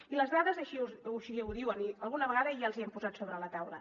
i les dades així ho diuen i alguna vegada ja els hi hem posat sobre la taula